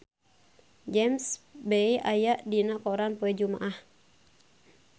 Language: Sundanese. James Bay aya dina koran poe Jumaah